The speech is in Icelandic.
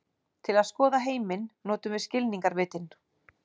Til að skoða heiminn notum við skilningarvitin.